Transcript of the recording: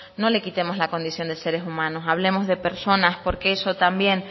no le quitemos la condición de seres humanos hablemos de personas porque eso también